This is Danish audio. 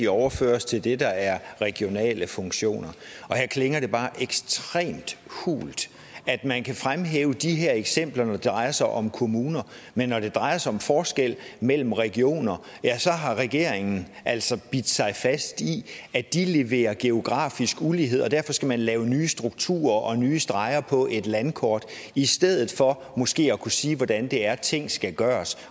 overføres til det der er regionale funktioner og her klinger det bare ekstremt hult at man kan fremhæve de her eksempler når det drejer sig om kommuner men når det drejer sig om forskel mellem regioner har regeringen altså bidt sig fast i at de leverer geografisk ulighed og derfor skal man lave nye strukturer og nye streger på et landkort i stedet for måske at kunne sige hvordan det er ting skal gøres